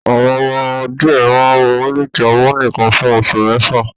Àwọn ọmọ ọwọ́ díẹ̀ máa ń mu mílìkì ọmú nìkan fún oṣù mẹ́fà